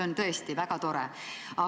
On tõesti väga tore, et nii see siiski ei ole.